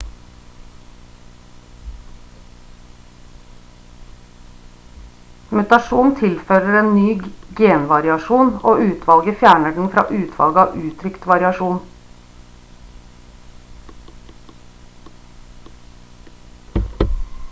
mutasjon tilfører en ny genvariasjon og utvalget fjerner den fra utvalget av uttrykt variasjon